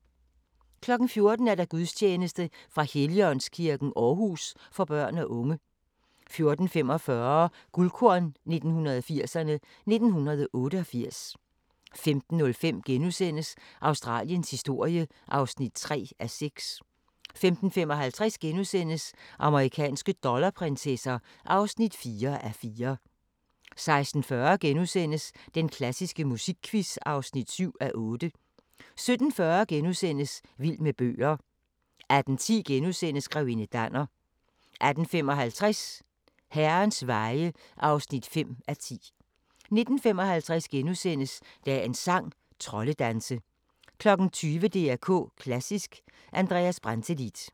14:00: Gudstjeneste fra Helligåndskirken, Aarhus, for børn og unge 14:45: Guldkorn 1980'erne: 1988 15:05: Australiens historie (3:6)* 15:55: Amerikanske dollarprinsesser (4:4)* 16:40: Den klassiske musikquiz (7:8)* 17:40: Vild med bøger * 18:10: Grevinde Danner * 18:55: Herrens veje (5:10) 19:55: Dagens sang: Troldedanse * 20:00: DR K Klassisk: Andreas Brantelid